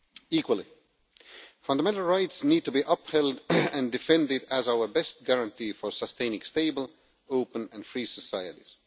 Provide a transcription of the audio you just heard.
Equally, fundamental rights need to be upheld and defended as our best guarantee for sustaining stable, open and free societies.